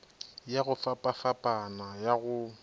ya go fapafapana ya go